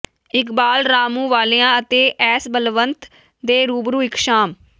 ਇਕਬਾਲ ਰਾਮੂਵਾਲੀਆ ਅਤੇ ਐਸ ਬਲਬੰਤ ਦੇ ਰੂਬਰੂ ਇਕ ਸ਼ਾਮ